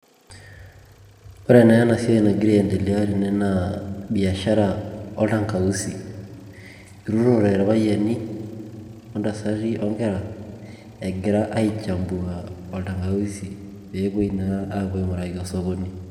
Ore naa ena siai nagira aiendelea tene naa biashara oltangausi, iturrurore irpayiani ontasati onkera egira aichambua oltangausi pee epuoi naa aapuo aing'uraki osokoni.